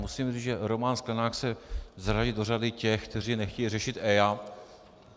Musím říct, že Roman Sklenák se zařadí do řady těch, kteří nechtějí řešit EIA.